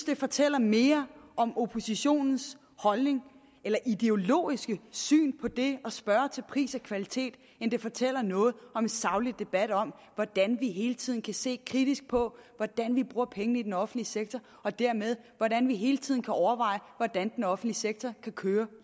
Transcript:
det fortæller mere om oppositionens holdning eller ideologiske syn på det at spørge til pris og kvalitet end det fortæller noget om en saglig debat om hvordan vi hele tiden kan se kritisk på hvordan vi bruger pengene i den offentlige sektor og dermed hvordan vi hele tiden kan overveje hvordan den offentlige sektor kan køre